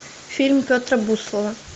фильм петра буслова